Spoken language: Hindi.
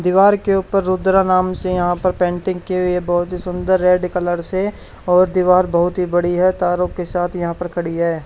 दीवार के ऊपर रुद्रा नाम से यहां पर पेंटिंग कि हुई है बहुत ही सुंदर रेड कलर से और दीवार बहुत ही बड़ी है तारों के साथ यहां पर खड़ी है।